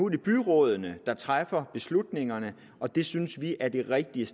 det byrådene der træffer beslutningerne og det synes vi er det rigtige